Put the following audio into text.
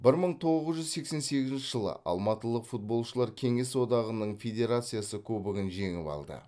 бір мың тоғыз жүз сексен сегізінші жылы алматылық футболшылар кеңес одағының федерациясы кубогын жеңіп алды